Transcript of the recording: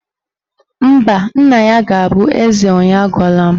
Mba, nna ya ga-abụ eze onye agwala m